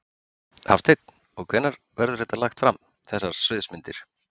Hafsteinn: Og hvenær verður þetta lagt fram, þessar sviðsmyndir?